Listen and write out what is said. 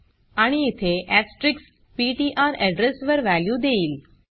आणि इथे asterisks PTR address वर वॅल्यू देईल